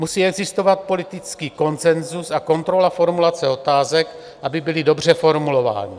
Musí existovat politický konsenzus a kontrola formulace otázek, aby byly dobře formulovány.